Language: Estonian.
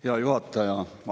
Hea juhataja!